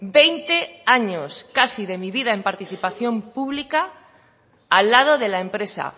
veinte años casi de mi vida en participación pública al lado de la empresa